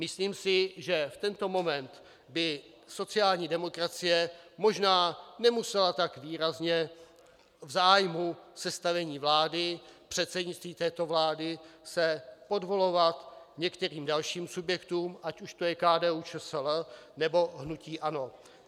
Myslím si, že v tento moment by sociální demokracie možná nemusela tak výrazně v zájmu sestavení vlády, předsednictví této vlády, se podvolovat některým dalším subjektům, ať už to je KDU-ČSL, nebo hnutí ANO.